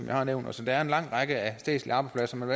jeg har nævnt altså der er en lang række statslige arbejdspladser man